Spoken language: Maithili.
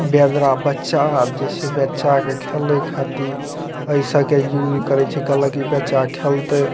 वेदरा बच्चा आर जे छै बच्चा के खेले खातिर ए सब के यूज करे छै कहल कि बच्चा खेलते।